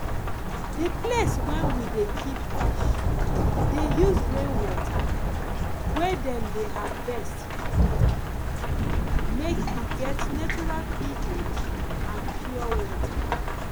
the place wen we de keep fish dey use rainwater wey dem harvest treat am make e get neutral ph and pure water